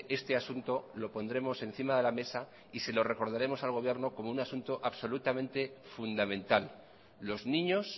este asunto lo pondremos encima de la mesa y se lo recordaremos al gobierno como un asunto absolutamente fundamental los niños